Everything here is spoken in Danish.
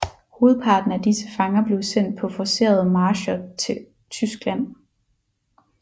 Hovedparten af disse fanger blev sendt på forcerede marcher til Tyskland